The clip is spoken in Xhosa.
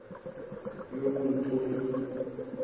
yobuntlola